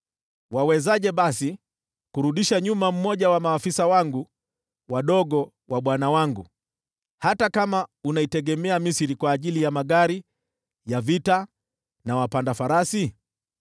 Utawezaje kumzuia hata afisa mmoja aliye mdogo kati ya maafisa wa bwana wangu, ijapo unategemea Misri kwa magari ya vita na wapanda farasi?